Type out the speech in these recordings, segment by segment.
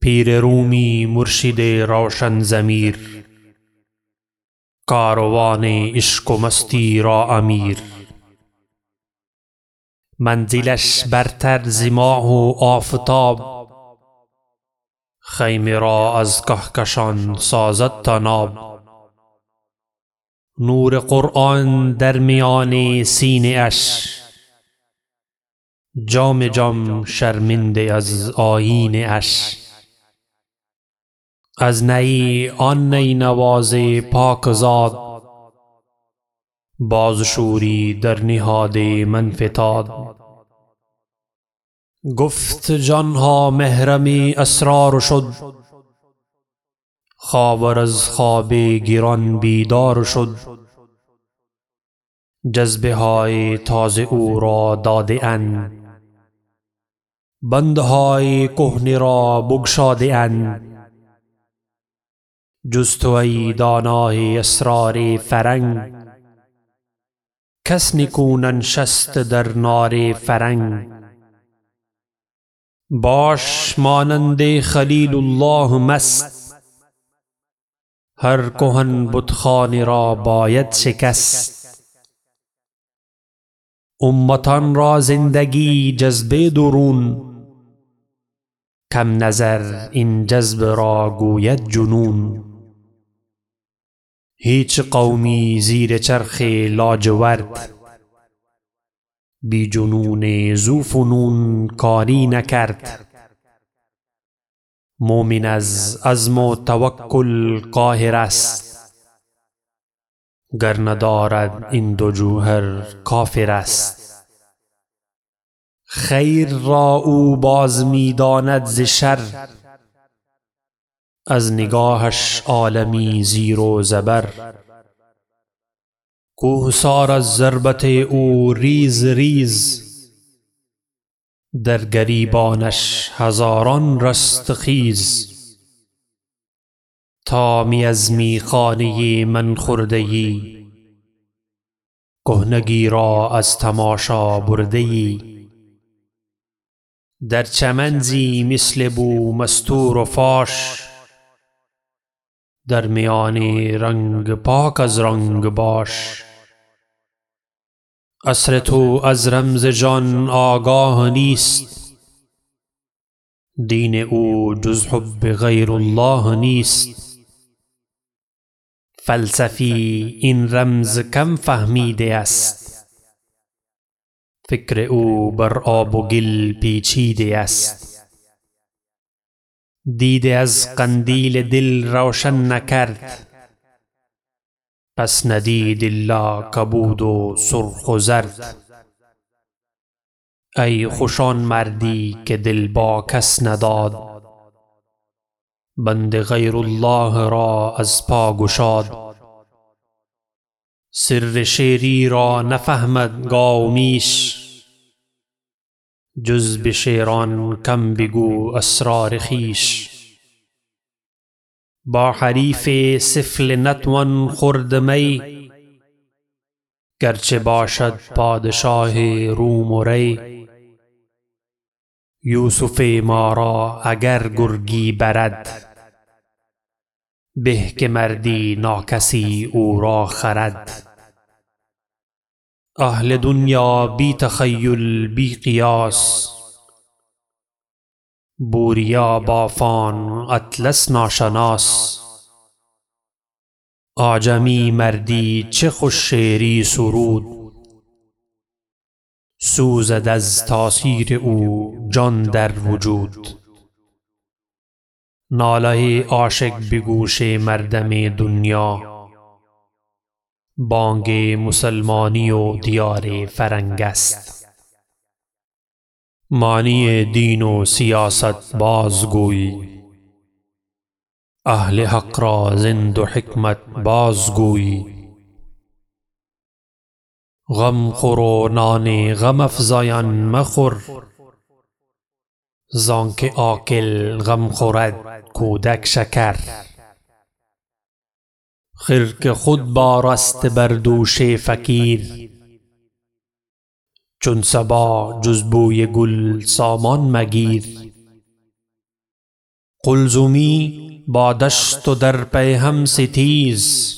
پیر رومی مرشد روشن ضمیر کاروان عشق و مستی را امیر منزلش برتر ز ماه و آفتاب خیمه را از کهکشان سازد طناب نور قرآن در میان سینه اش جام جم شرمنده از آیینه اش از نی آن نی نواز پاکزاد باز شوری در نهاد من فتاد گفت جانها محرم اسرار شد خاور از خواب گران بیدار شد جذبه های تازه او را داده اند بندهای کهنه را بگشاده اند جز تو ای دانای اسرار فرنگ کس نکو ننشست در نار فرنگ باش مانند خلیل الله مست هر کهن بتخانه را باید شکست امتان را زندگی جذب درون کم نظر این جذب را گوید جنون هیچ قومی زیر چرخ لاجورد بی جنون ذوفنون کاری نکرد مؤمن از عزم و توکل قاهر است گر ندارد این دو جوهر کافر است خیر را او باز میداند ز شر از نگاهش عالمی زیر و زبر کوهسار از ضربت او ریز ریز در گریبانش هزاران رستخیز تا می از میخانه من خورده یی کهنگی را از تماشا برده یی در چمن زی مثل بو مستور و فاش در میان رنگ پاک از رنگ باش عصر تو از رمز جان آگاه نیست دین او جز حب غیر الله نیست فلسفی این رمز کم فهمیده است فکر او بر آب و گل پیچیده است دیده از قندیل دل روشن نکرد پس ندید الا کبود و سرخ و زرد ای خوش آن مردی که دل با کس نداد بند غیر الله را از پا گشاد سر شیری را نفهمد گاو و میش جز به شیران کم بگو اسرار خویش با حریف سفله نتوان خورد می گرچه باشد پادشاه روم و ری یوسف ما را اگر گرگی برد به که مردی ناکسی او را خرد اهل دنیا بی تخیل بی قیاس بوریا بافان اطلس ناشناس اعجمی مردی چه خوش شعری سرود سوزد از تأثیر او جان در وجود ناله عاشق بگوش مردم دنیا بانگ مسلمانی و دیار فرنگ است معنی دین و سیاست باز گوی اهل حق را زین دو حکمت باز گوی غم خور و نان غم افزایان مخور زانکه عاقل غم خورد کودک شکر رومی خرقه خود بار است بر دوش فقیر چون صبا جز بوی گل سامان مگیر قلزمی با دشت و در پیهم ستیز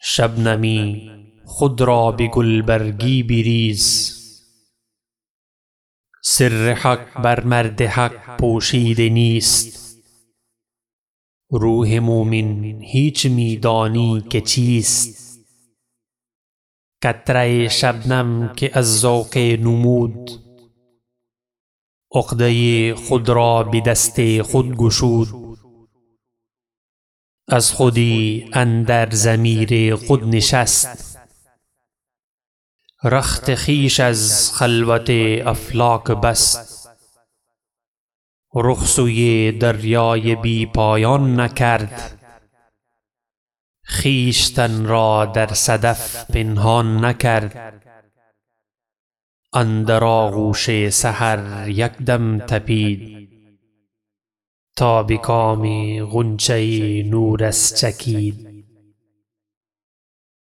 شبنمی خود را به گلبرگی بریز سر حق بر مرد حق پوشیده نیست روح مؤمن هیچ میدانی که چیست قطره شبنم که از ذوق نمود عقده خود را بدست خود گشود از خودی اندر ضمیر خود نشست رخت خویش از خلوت افلاک بست رخ سوی دریای بی پایان نکرد خویشتن را در صدف پنهان نکرد اندر آغوش سحر یکدم تپید تا بکام غنچه نورس چکید